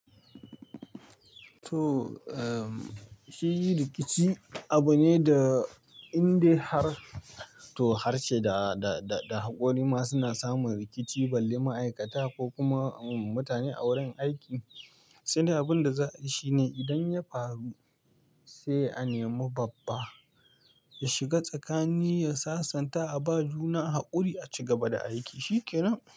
To, eh shi rikici abu ne da in dai har to harshe da, da, da hakori ma suna samun rikici balle ma'aikata ko kuma mutane a wurin aiki. Tunda abunda za ai shine idan ya faru sai a nema babba ya shiga tsakani ya sasanta a ba juna haƙuri a ci gaba da aiki. Shi ke nan.